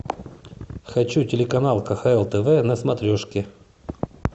хочу телеканал кхл тв на смотрешке